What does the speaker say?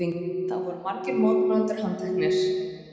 Þá voru margir mótmælendur handteknir